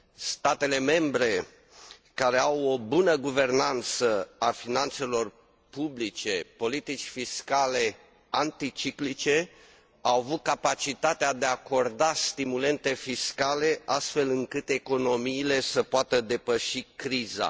Statele membre care au o bună guvernanță a finanțelor publice și politici fiscale anticiclice au avut capacitatea de a acorda stimulente fiscale, astfel încât economiile să poată depăși criza.